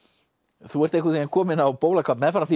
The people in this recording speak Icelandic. þú ert einhvern veginn kominn á bólakaf meðfram því